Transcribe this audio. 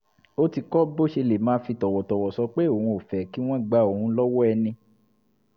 ó ti kọ́ bó ṣe lè máa fi tọ̀wọ̀tọ̀wọ̀ sọ pé òun ò fẹ́ kí wọ́n gba òun lọ́wọ́ ẹni